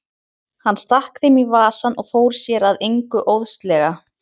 Hann stakk þeim í vasann og fór sér að engu óðslega.